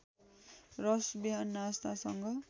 रस बिहान नास्तासँग